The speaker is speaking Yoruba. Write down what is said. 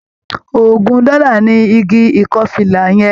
Ògún dọ́là ni igi ìkọ́fìlà yẹn.